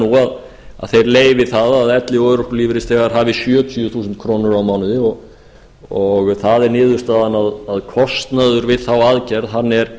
nú að þeir leyfi það að elli og örorkulífeyrisþegar hafi sjötíu þúsund krónur á mánuði og það er niðurstaðan að kostnaður við þá aðgerð er